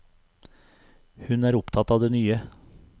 Hun er opptatt av det nye.